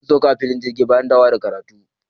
Sun sauka a filin jirgi bayan dawowa daga karatu.